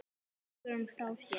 Leggur hann frá sér.